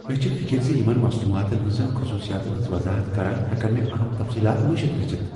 مےٚ چھِ فکر ز بہٕ مصنوعاتن ہنزن خصوصیاتن ہنٛز وضاحت کران ہیكن مےٚ اہم تفصیلات مشِتھ گژھِتھ ۔